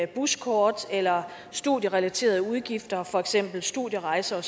buskort eller studierelaterede udgifter for eksempel studierejser